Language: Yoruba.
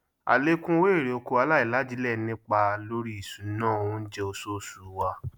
àlékún owó erè oko aláìlajílẹ nipa lórí ìṣúná oúnjẹ oṣooṣù wa